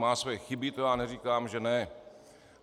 Má svoje chyby, to já neříkám, že ne.